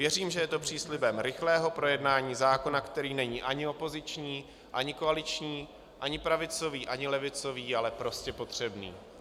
Věřím, že je to příslibem rychlého projednání zákona, který není ani opoziční, ani koaliční, ani pravicový, ani levicový, ale prostě potřebný.